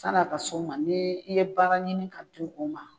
Sani a ka s'o ma, ni i ye baara ɲini ka di u ma.